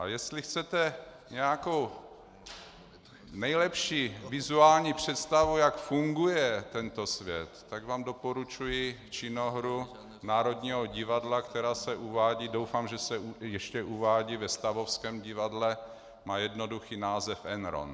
A jestli chcete nějakou nejlepší vizuální představu, jak funguje tento svět, tak vám doporučuji činohru Národního divadla, která se uvádí, doufám, že se ještě uvádí, ve Stavovském divadle, má jednoduchý název Enron.